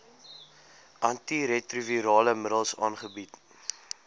antiretrovirale middels aangebied